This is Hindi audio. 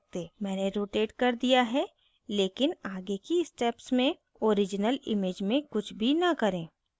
मैंने rotate कर दिया लेकिन आगे की steps में original image में कुछ भी न करें